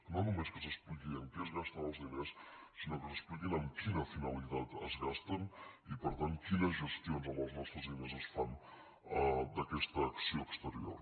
no només que s’expliqui en què es gasten els diners sinó que s’expliqui amb quina finalitat es gasten i per tant quines gestions amb els nostres diners es fan d’aquesta acció exterior